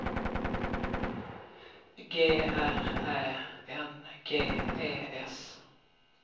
G R Ä N G E S